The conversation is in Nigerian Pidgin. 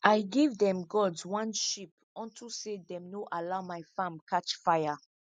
i give them gods one sheep onto say them no allow my farm catch fire